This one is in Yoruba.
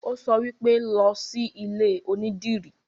Ó sọ wípé, 'Lọ sí ilé onídìrí'